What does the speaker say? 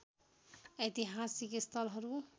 ऐतिहासिक स्थलहरू